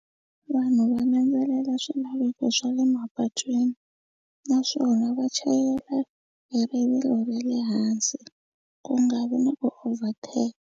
Vanhu va landzelela swilaveko swa le mapatwini naswona va chayela hi rivilo ra le hansi ku nga vi na ku overtaker.